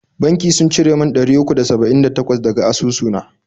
Banki sun cire mun ɗari uku da saba'in da takwas daga asusu na.